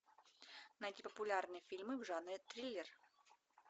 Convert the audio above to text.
найти популярные фильмы в жанре триллер